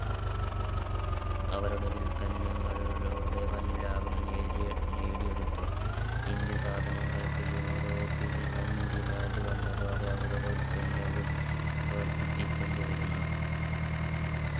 അവരുടെ ഉൽപന്നങ്ങൾ ലൂടെ വൻ ലാഭം നേടിയ നേടിയെടുത്തു indian സാധനങ്ങൾക്ക് യൂറോപ്പിൽ വൻ Demand വന്നതോടെ അവരുടെ ഉൽപ്പന്നവും വർധിപ്പിക്കേണ്ടി വരുന്നു